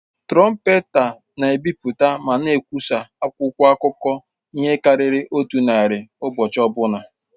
Trọmpeta na-ebipụta ma na-ekwụsa akwụkwọ akụkọ ihe karịrị otu narị ụbọchị ọbụla.